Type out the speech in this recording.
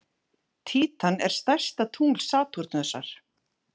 Títan er stærsta tungl Satúrnusar.